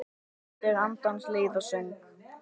Ávextir andans leiða söng.